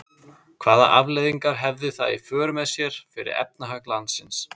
Hvaða afleiðingar hefði það í för með sér fyrir efnahag landsins?